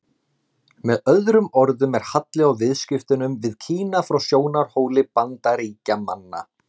Með öðrum orðum er halli á viðskiptunum við Kína frá sjónarhóli Bandaríkjamanna.